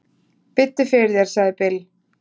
"""Biddu fyrir þér, sagði Bill."""